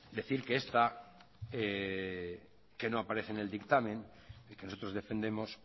decir que esta que no aparece en el dictamen y que nosotros defendemos